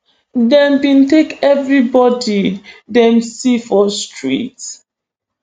dem bin take evribodi dem see for street